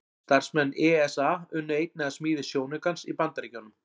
Starfsmenn ESA unnu einnig að smíði sjónaukans í Bandaríkjunum.